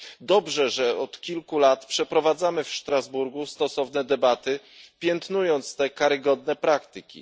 Dobrze, że od kilku lat przeprowadzamy w Strasburgu stosowne debaty, piętnując te karygodne praktyki.